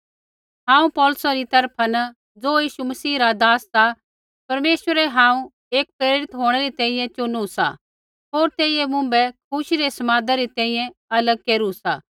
हांऊँ पौलुसा री तरफा न ज़ो यीशु मसीह रा दास सा परमेश्वरै हांऊँ एक प्रेरित होंणै री तैंईंयैं चुनु सा होर तेइयै मुँभै खुशी रै समादा री तैंईंयैं अलग केरू सा